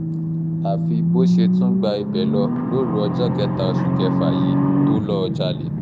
àfi bó ṣe tún gba ibẹ̀ lọ lóru ọjọ́ kẹta oṣù kẹfà yìí tó lọ́ọ́ jalè